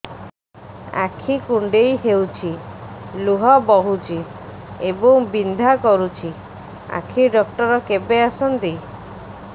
ଆଖି କୁଣ୍ଡେଇ ହେଉଛି ଲୁହ ବହୁଛି ଏବଂ ବିନ୍ଧା କରୁଛି ଆଖି ଡକ୍ଟର କେବେ ଆସନ୍ତି